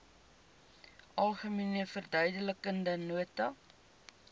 algemene verduidelikende nota